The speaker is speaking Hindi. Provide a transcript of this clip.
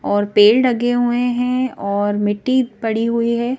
और पेड़ लगे हुए हैं और मिट्टी पड़ी हुई है।